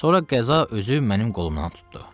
Sonra qəza özü mənim qolumdan tutdu.